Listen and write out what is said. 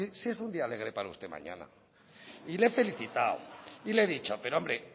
si es un día alegre para usted mañana y le he felicitado y le he dicho pero hombre